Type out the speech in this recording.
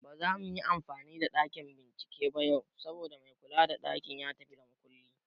Ba zamu yi amfani da ɗakin bincike ba yau, saboda mai kula da ɗakin ya tafi da makulli